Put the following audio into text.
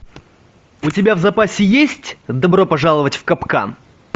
у тебя в запасе есть добро пожаловать в капкан